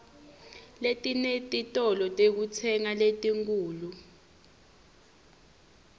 letinetitolo tekutsenga letinkhulu